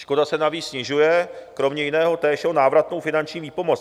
Škoda se navíc snižuje kromě jiného též o návratnou finanční výpomoc.